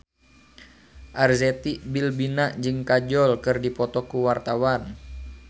Arzetti Bilbina jeung Kajol keur dipoto ku wartawan